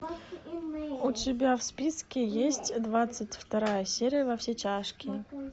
у тебя в списке есть двадцать вторая серия во все тяжкие